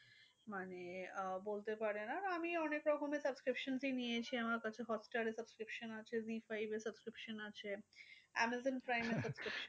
মানে আহ বলতে পারেন আর আমি অনেক রকমের subscription ই নিয়েছি। আমার কাছে hotstar এর subscription আছে, zee five এর subscription আছে amazon prime এর subscription